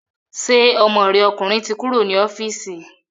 Ṣé ọmọ rẹ ọkùnrin ti kúrò ní ọ́fíìsì